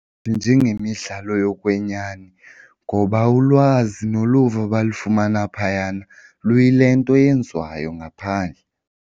Njengemidlalo yokwenyani ngoba ulwazi noluvo abalufumana phayana luyi le nto yenziwayo ngaphandle.